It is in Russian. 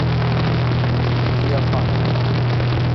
феофанова